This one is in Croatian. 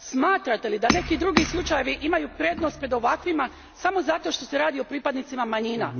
Smatrate li da neki drugi slučajevi imaju prednost pred ovakvima, samo zato što se radi o pripadnicima manjima?